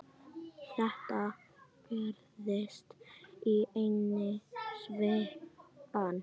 Þetta gerðist í einni svipan.